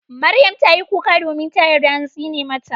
Maryam tayi kuka domin ta yarda an tsine mata.